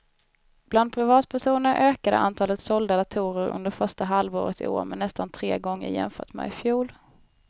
Bland privatpersoner ökade antalet sålda datorer under första halvåret i år med nästan tre gånger jämfört med i fjol.